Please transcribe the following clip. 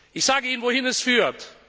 Ich sage Ihnen, wohin das führt.